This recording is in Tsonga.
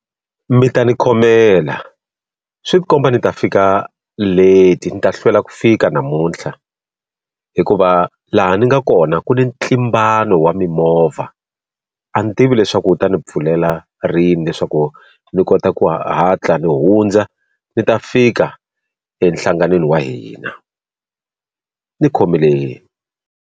Mi ta ni khomela swi ti komba ni ta fika late ni ta hlwela ku fika namuntlha hikuva laha ni nga kona ku ni ntlimbano wa mimovha a ni tivi leswaku wu ta ni pfulela rini leswaku ni kota ku hatla ni hundza ni ta fika enhlangan'weni wa hina ni khomeleni.